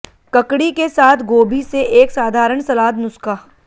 ककड़ी के साथ गोभी से एक साधारण सलाद नुस्खा